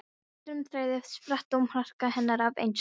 Öðrum þræði spratt dómharka hennar af einsemd.